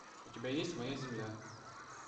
у тебя есть моя земля